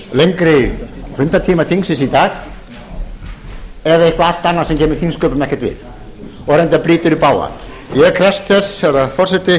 lengri fundartíma þingsins í dag eða eitthvað allt annað sem kemur þingsköpum ekkert við ég krefst þess herra forseti